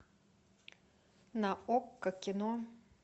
на окко кино